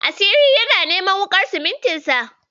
Asiri yana neman wuƙar simintin sa.